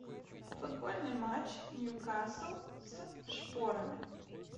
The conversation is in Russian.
футбольный матч ньюкасл с шпорами